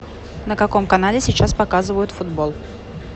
на каком канале сейчас показывают футбол